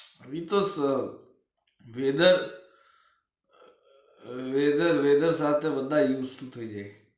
ઇતોસ weather leather weather થાય બધા use to થઇ જાય